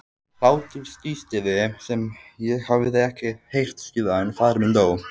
Hláturstístið sem ég hafði ekki heyrt síðan faðir minn dó.